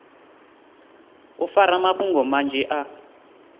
u fara mafhungo manzhi a